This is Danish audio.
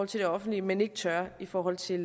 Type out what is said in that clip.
til det offentlige men ikke tør i forhold til